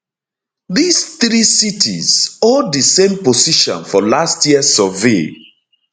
dis three cities hold di same position for last year survey